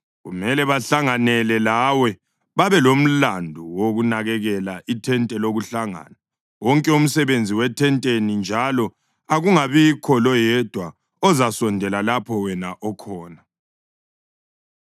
Kumele bahlanganele lawe babelomlandu wokunakekela ithente lokuhlangana, wonke umsebenzi wethenteni, njalo akungabibikho loyedwa ozasondela lapho wena okhona.